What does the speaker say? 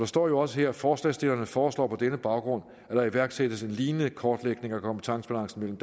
står jo også her at forslagsstillerne foreslår på denne baggrund at der iværksættes en lignende kortlægning af kompetencebalancen mellem